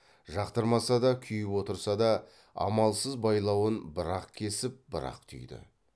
жақтырмаса да күйіп отырса да амалсыз байлауын бір ақ кесіп бір ақ түйді